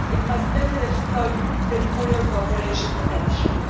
It must better exploit territorial cooperation potential.